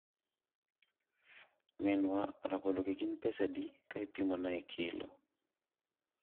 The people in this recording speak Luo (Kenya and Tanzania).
minwa, rabologi gin pesadi ka ipimo na e kilo?